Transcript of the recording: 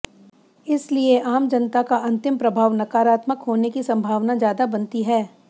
इसलिये आम जनता का अंतिम प्रभाव नकारात्मक होने की संभावना ज्यादा बनती है